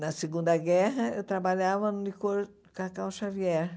Na Segunda Guerra, eu trabalhava no licor Cacau Xavier.